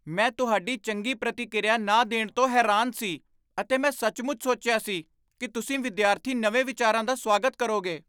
ਮੈਂ ਤੁਹਾਡੀ ਚੰਗੀ ਪ੍ਰਤੀਕ੍ਰਿਆ ਨਾ ਦੇਣ ਤੋਂ ਹੈਰਾਨ ਸੀ ਅਤੇ ਮੈਂ ਸੱਚਮੁੱਚ ਸੋਚਿਆ ਸੀ ਕਿ ਤੁਸੀਂ ਵਿਦਿਆਰਥੀ ਨਵੇਂ ਵਿਚਾਰਾਂ ਦਾ ਸਵਾਗਤ ਕਰੋਗੇ।